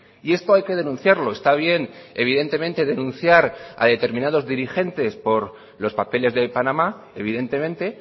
y esto hay que denunciarlo está bien evidentemente denunciar a determinados dirigentes por los papeles de panamá evidentemente